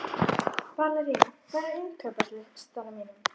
Valería, hvað er á innkaupalistanum mínum?